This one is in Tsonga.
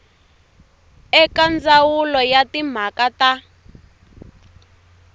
eka ndzawulo ya timhaka ta